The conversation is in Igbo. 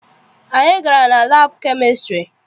Anyị gara na labu chemistiry.